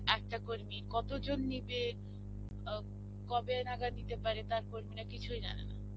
একটা কর্মীর কতজন নিবে এও কবে নাগাদ নিতে পারে তার কর্মীরা কিছুই জানেনা.